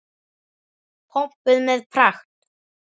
Pompuð með pragt.